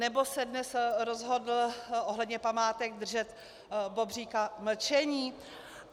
Nebo se dnes rozhodl ohledně památek držet bobříka mlčení?